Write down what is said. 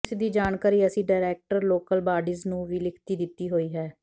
ਇਸ ਦੀ ਜਾਣਕਾਰੀ ਅਸੀਂ ਡਾਇਰੈਕਟਰ ਲੋਕਲ ਬਾਡੀਜ ਨੂੰ ਵੀ ਲਿਖਤੀ ਦਿੱਤੀ ਹੋਈ ਹੈ